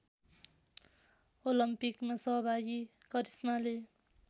ओलम्पिकमा सहभागी करिश्माले